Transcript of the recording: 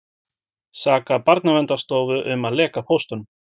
Sakar Barnaverndarstofu um að leka póstunum